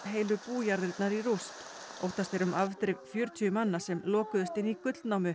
heilu bújarðirnar í rúst óttast er um afdrif fjörutíu manna sem lokuðust inni í gullnámu